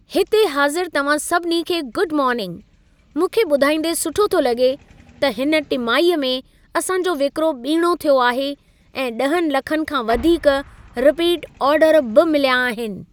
हिते हाज़िर तव्हां सभिनी खे गुड मोर्निंग। मूंखे ॿुधाईंदे सुठो थो लॻे, त हिन टिमाहीअ में असां जो विक्रो ॿीणों थियो आहे ऐं 10 लखनि खां वधीक रिपीट आर्डर बि मिलिया आहिन।